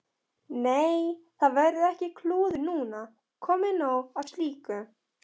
Nei, það verður ekkert klúður núna, komið nóg af slíku.